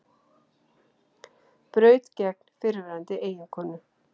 Braut gegn fyrrverandi eiginkonu